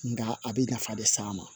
Nka a bɛ nafa de s'a ma